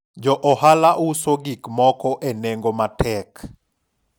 jo ohala uso gik moko e nengo matek